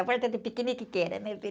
A do piquenique que era, né, filho?